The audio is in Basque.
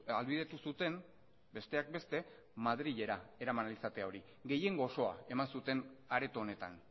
ahalbidetu zuten besteak beste madrilera eraman ahal izatea hori gehiengo osoa eman zuten areto honetan